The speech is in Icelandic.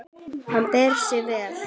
Hann ber sig vel.